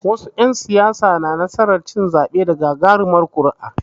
Wasu ƴan siyasar suna samu cin zaɓe da gagarumar nasara.